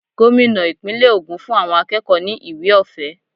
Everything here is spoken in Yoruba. Gómìnà ìpínlè ogún fún àwọn akẹ́kọ̀ọ́ ni ìwé ọ̀fẹ́.